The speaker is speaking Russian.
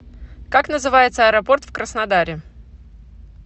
как называется аэропорт в краснодаре